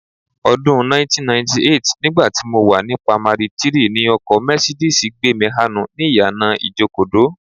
Ọdún 1998, nígbà tí mo wà ní pamari 3, ni ọkọ Mercedes gbé mi hánu ni ìyànà Ìjokòdó